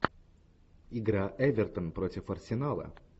игра эвертон против арсенала